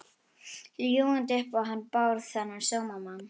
Ljúgandi upp á hann Bárð, þennan sómamann.